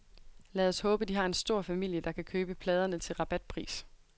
Lad os håbe, de har en stor familie, der kan købe pladerne til rabatpris.